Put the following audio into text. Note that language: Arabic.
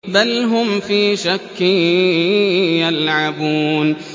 بَلْ هُمْ فِي شَكٍّ يَلْعَبُونَ